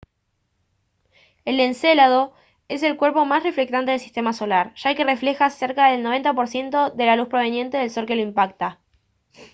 el encélado es el cuerpo más reflectante del sistema solar ya que refleja cerca del 90 por ciento de la luz proveniente del sol que lo impacta